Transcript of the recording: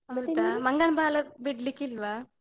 ಮಂಗನ್ ಬಾಲ ಬಿಡ್ಲಿಕ್ಕಿಲ್ವಾ?